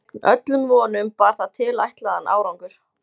Gegn öllum vonum bar það tilætlaðan árangur.